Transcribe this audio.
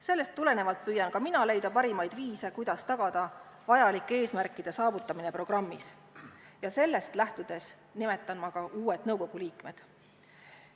Sellest tulenevalt püüan ka mina leida parimaid viise, kuidas tagada programmis nimetatud vajalike eesmärkide saavutamine, ja sellest lähtudes nimetan ma uued nõukogu liikmed.